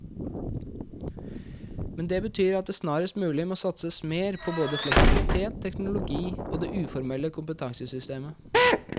Men det betyr at det snarest mulig må satses mer på både fleksibilitet, teknologi og det uformelle kompetansesystemet.